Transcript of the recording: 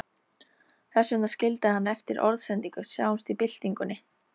Þess vegna skildi hann eftir orðsendingu, Sjáumst í byltingunni